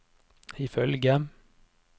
ifølge